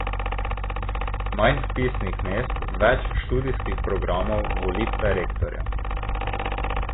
Manj vpisnih mest, več študijskih programov, volitve rektorja ...